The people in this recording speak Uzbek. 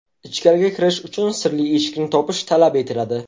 Ichkariga kirish uchun sirli eshikni topish talab etiladi.